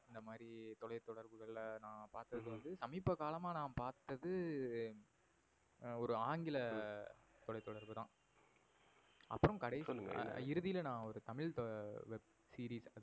அந்த மாறி தொலை தொடர்புகள் ல நா பாத்தது வந்து சமீப காலமா நா பாத்தது ஒரு ஆங்கில தொலை தொடர்பு தான். அப்புறம் இறுதில நா ஒரு தமிழ் webseries